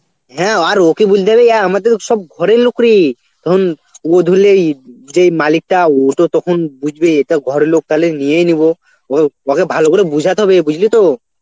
হ্যাঁ আর ওকে বুলতে হবে অ্যাঁ আমাদের সব ঘরের লোক রে তখন যে মালিকটা ওতো তখন বুঝবে এ তো ঘরের লোক তালে নিয়েই নিব, ও~ ওকে ভালো করে বোঝাতে হবে বুঝলি তো.